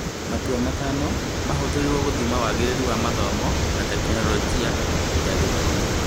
Matua matano mahũthĩrirwo gũthima wagĩrĩru wa mathomo na Tekinoronjĩ ya Gĩthomo.